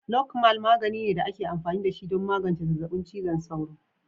Lokmal magani ne da ake amfani da shi don magance zazzabin cizon sauro.